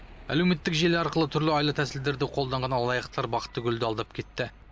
әлеуметтік желі арқылы түрлі айла тәсілдерді қолданған алаяқатар бақтыгүлді алдап кетті